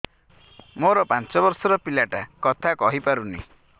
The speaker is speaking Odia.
ମୋର ପାଞ୍ଚ ଵର୍ଷ ର ପିଲା ଟା କଥା କହି ପାରୁନି